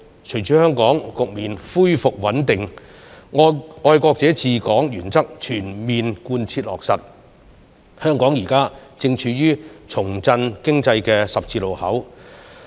隨着香港局面恢復穩定，"愛國者治港"原則全面貫徹落實，香港現時正處於重振經濟的十字路口。